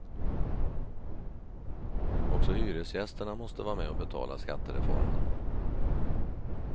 Också hyresgästerna måste vara med och betala skattereformen.